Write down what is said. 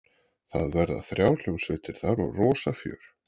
Það verða þrjár hljómsveitir þar og rosa fjör.